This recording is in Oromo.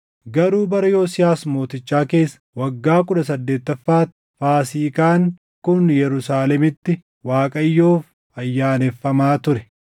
Garuu bara Yosiyaas mootichaa keessa waggaa kudha saddeettaffaatti Faasiikaan kun Yerusaalemitti Waaqayyoof ayyaaneffamaa ture.